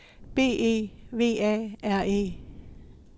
B E V A R E